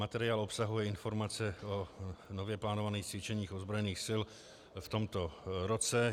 Materiál obsahuje informace o nově plánovaných cvičeních ozbrojených sil v tomto roce.